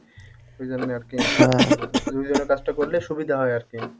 ওই জন্যে আরকি দুই জনে কাজটা করলে সুবিধা হয় আরকি